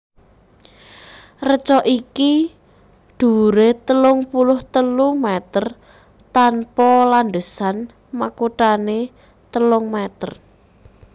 Reca iki dhuwuré telung puluh telu mèter tanpa landhesan makuthané telung mèter